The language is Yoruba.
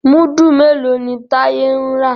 Mudu mèló ní Taye ń rà?